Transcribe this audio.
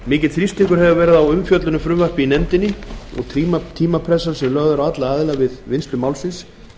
mikill þrýstingur hefur verið á umfjöllun um frumvarpið í nefndinni og tímapressan sem lögð er á alla aðila við vinnslu málsins